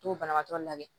To banabaatɔ labɛn